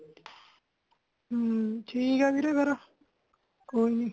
ਹਮ ,ਠੀਕ ਹੇ ਵੀਰੇ ਫੇਰ ਕੋਈ ਨਹੀਂ